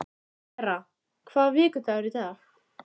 Sera, hvaða vikudagur er í dag?